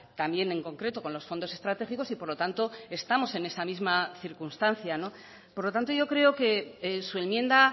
también en concreto con los fondos estratégicos y por lo tanto estamos en esa misma circunstancia por lo tanto yo creo que su enmienda